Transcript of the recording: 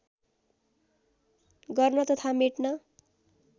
गर्न तथा मेट्न